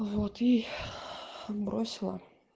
вот и бросила